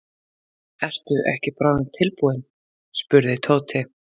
Ertu ekki bráðum tilbúinn? spurði Tóti.